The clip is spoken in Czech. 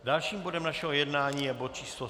Dalším bodem našeho jednání je bod číslo